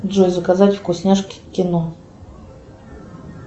джой заказать вкусняшки к кино